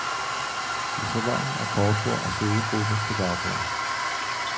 I salonen er kortbord og siddegruppe til bagbord.